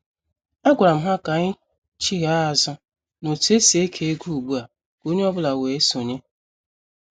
A gwara m ha ka anyị chigha azụ n' otu esi eke ego ugbua ka onye ọ bụla wee sonye.